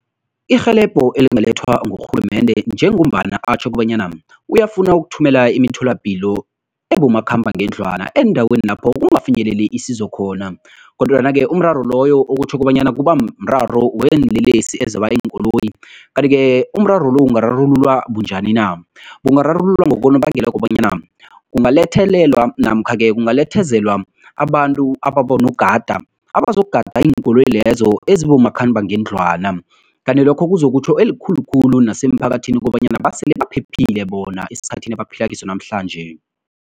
Irhelebho elingalethwa ngurhulumende njengombana atjho kobanyana uyafuna ukuthumela imitholapilo ebomakhambangendlwana eendaweni lapho kungafinyeleli isizo khona kodwana-ke umraro loyo okutjho kobanyana kubamraro weenlelesi ezeoba iinkoloyi kanti-ke umraro lo ungararululwa bunjani na? Ungararululwa ngonobangela wokobanyana kungalethelela namkha-ke kungalethezelwa abantu ababonogada, abazokugada iinkoloyi lezo ezibomakhambangendlwana kanti lokho kuzokutjho elikhulu khulu nasemphakathini kobanyana basele baphephile bona esikhathini abaphila kiso namhlanje.